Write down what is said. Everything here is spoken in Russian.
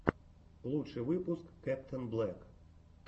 лучший выпуск кэптэнблэк